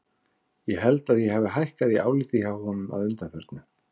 Ég held að ég hafi hækkað í áliti hjá honum að undanförnu.